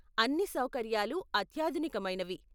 అన్ని సౌకర్యాలు అత్యాధునికమైనవి.